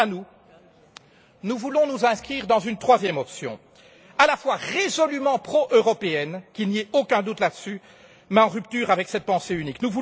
Quant à nous, nous voulons nous inscrire dans une troisième option, à la fois résolument pro européenne qu'il n'y ait aucun doute là dessus mais en rupture avec cette pensée unique.